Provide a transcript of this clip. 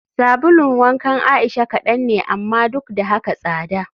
Sabulun wankan Aisha kadan ne amma duk da haka tsada